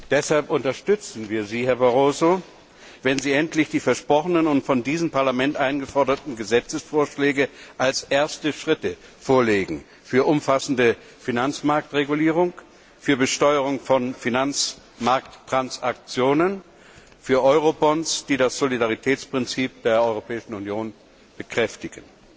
Deshalb unterstützen wir Sie, Herr Barroso, wenn Sie endlich die versprochenen und von diesem Parlament eingeforderten Gesetzesvorschläge vorlegen als erste Schritte für eine umfassende Finanzmarktregulierung, für Besteuerung von Finanzmarkttransaktionen, für Eurobonds, die das Solidaritätsprinzip der Europäischen Union bekräftigen.